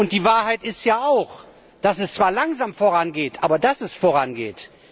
Die Wahrheit ist ja, dass es zwar langsam vorangeht, aber dass es vorangeht.